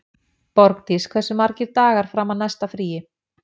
Borgdís, hversu margir dagar fram að næsta fríi?